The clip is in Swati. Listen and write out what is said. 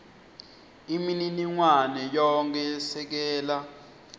imininingwane yonkhe yesekela